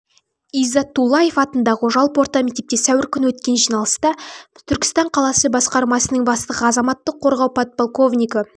иззатуллаев атындағы жалпы орта мектепте сәуір күні өткен жиналыста түркістан қаласы басқармасының бастығы азаматтық қорғау подполковнигі